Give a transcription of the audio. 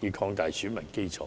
以擴大選民基礎。